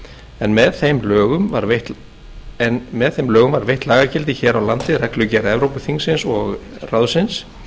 en með þeim lögum var veitt lagagildi hér á landi reglugerð evrópuþingsins og ráðsins